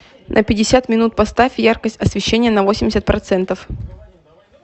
на пятьдесят минут поставь яркость освещения на восемьдесят процентов